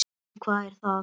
En hvað er að?